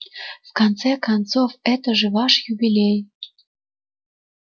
в конце концов это же ваш юбилей